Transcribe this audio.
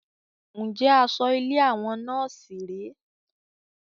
Njẹ asọ ilé àwọn nọ́ọ̀sì rẹ?